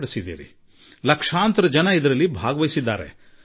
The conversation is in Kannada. ಹಾಗೆ ನೋಡಿದರೆ ಲಕ್ಷಾಂತರ ಜನರು ಇದರಲ್ಲಿ ಆಸಕ್ತಿ ತೋರಿದರು